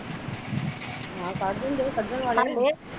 ਆਹੋ ਕੱਢ ਦਿੰਦੇ ਕੱਢਣ ਵਾਲੇ